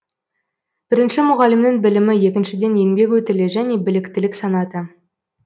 бірінші мұғалімнің білімі екіншіден еңбек өтілі және біліктілік санаты